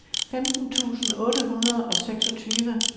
femten tusind otte hundrede og seksogtyve